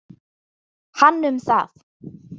Hann um það.